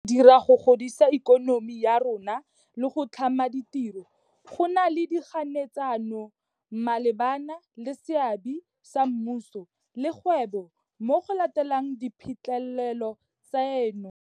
Jaaka re dira go godisa ikonomi ya rona le go tlhama ditiro, go na le dikganetsano malebana le seabe sa mmuso le kgwebo mo go lateleng diphitlhelelo tseno.